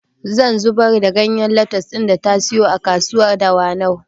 Zan zubar da ganyen lattus ɗin da ta siyo a kasuwar dawanau